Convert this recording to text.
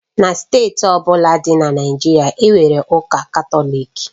Na steeti ọ bụla dị na Naịjirịa, e nwere ụka Katọlik